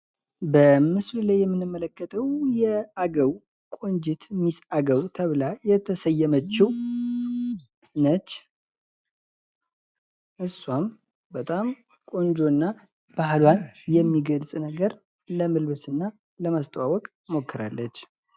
በምስሉ ላይ የምንመለከተው አገው ቆንጂት ሚስ አገው ተብላ ተሰየመችው ነች። እሷም በጣም ቆንጆ እና ባህልዋን የሚገልጽ ነገር ለመልብስ እና ለማስተዋወቅ ሞክራለች።